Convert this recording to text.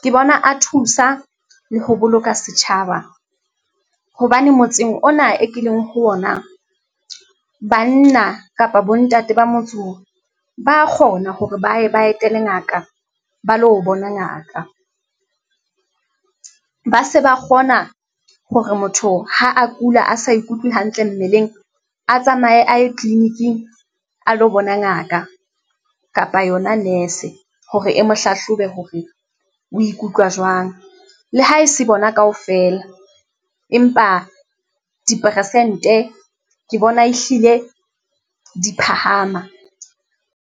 ke bona a thusa le ho boloka setjhaba hobane motseng ona e ke leng ho ona. Banna kapa bontate ba motse o ba kgona hore baye ba etele ngaka ba lo bona ngaka, ba se ba kgona hore motho ha a kula, a sa ikutlwe hantle mmeleng, a tsamaye a ye clinic-ing a lo bona ngaka kapa yona nurse-e hore e mo hlahlobe hore o ikutlwa jwang. Le ha e se bona kaofela empa diperesente ke bona ehlile di phahama.